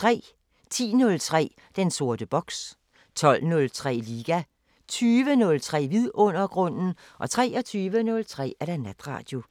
10:03: Den sorte boks 12:03: Liga 20:03: Vidundergrunden 23:03: Natradio